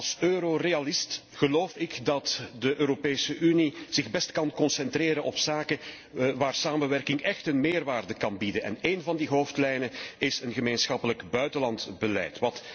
Als Eurorealist geloof ik dat de Europese Unie zich het beste kan concentreren op zaken waar samenwerking echt een meerwaarde kan bieden. Een van die hoofdlijnen is een gemeenschappelijk buitenlands beleid.